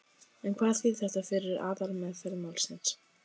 En hvað þýðir þetta fyrir aðalmeðferð málsins?